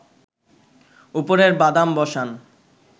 উপরে বাদাম বসান